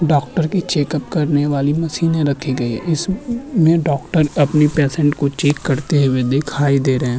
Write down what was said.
Doctor की checkup करने वाली मशीने रखी गई इसमें डॉक्टर अपनी पेशंट को चेक करते हुए दीखाई देरे हैं।